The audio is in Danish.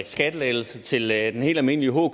skattelettelser til den helt almindelige hker